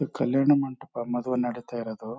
ಕಲ್ಯಾಣ ಮಂಟಪ ಮದ್ವೆ ನಡೀತಾ ಇರದು.